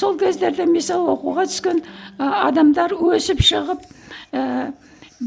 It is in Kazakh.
сол кездерде мысалы оқуға түскен ы адамдар өсіп шығып ііі